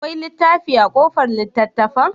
Akwai littafi a kobar littattafan?